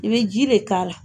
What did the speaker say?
I bɛ ji de k'a la.